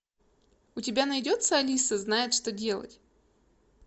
у тебя найдется алиса знает что делать